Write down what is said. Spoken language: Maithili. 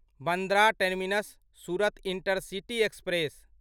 Bandra terminus Surat intercity express